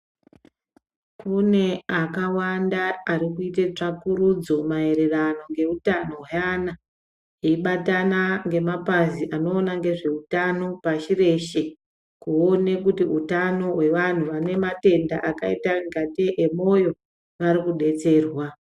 Kune akawanda arikuite tsvakurudzo maererano ngeutano hweana, eibatana ngemapazi anoona ngezveutano pashi reshe. Kuone kuti utano hwevanhu vanematenda akaita ingatei emwoyo arikudetserwa.